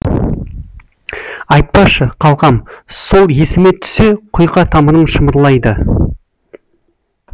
айтпашы қалқам сол есіме түссе құйқа тамырым шымырлайды